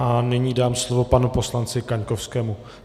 A nyní dám slovo panu poslanci Kaňkovskému.